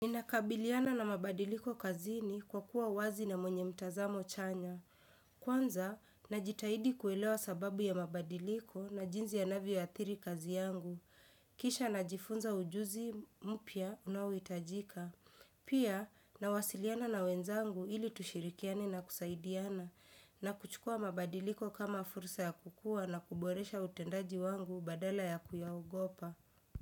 Ninakabiliana na mabadiliko kazini kwa kuwa wazi na mwenye mtazamo chanya. Kwanza, najitahidi kuelewa sababu ya mabadiliko na jinzi ya navi ya athiri kazi yangu. Kisha najifunza ujuzi mupya unawitajika. Pia, nawasiliana na wenzangu ili tushirikiani na kusaidiana. Na kuchukua mabadiliko kama fursa ya kukua na kuboresha utendaji wangu badala ya kuyahogopa.